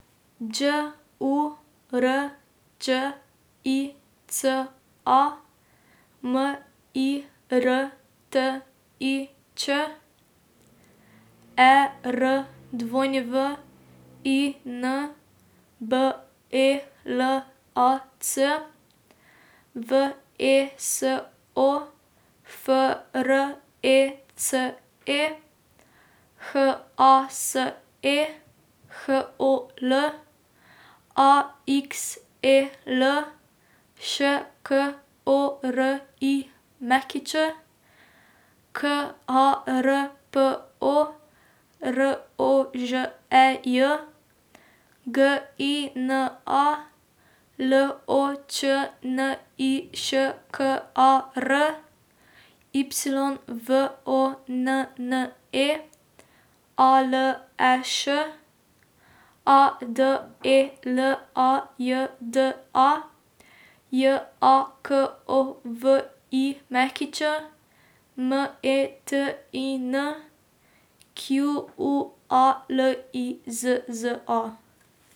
Đ U R Đ I C A, M I R T I Č; E R W I N, B E L A C; V E S O, F R E C E; H A S E, H O L; A X E L, Š K O R I Ć; K A R P O, R O Ž E J; G I N A, L O Č N I Š K A R; Y V O N N E, A L E Š; A D E L A J D A, J A K O V I Ć; M E T I N, Q U A L I Z Z A.